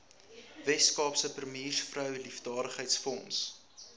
weskaapse premiersvrou liefdadigheidsfonds